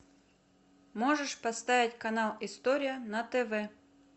можешь поставить канал история на тв